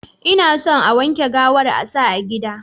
Inason a wanke gawar sa a gida.